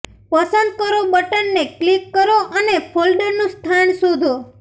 પસંદ કરો બટનને ક્લિક કરો અને ફોલ્ડરનું સ્થાન શોધો